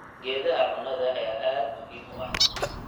Geedaha cunnada ayaa aad muhiim u ah.